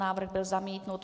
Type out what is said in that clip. Návrh byl zamítnut.